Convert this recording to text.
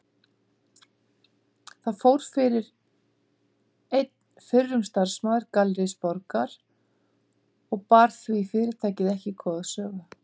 Þar fór fyrir einn fyrrum starfsmaður Gallerís Borgar og bar því fyrirtæki ekki góða sögu.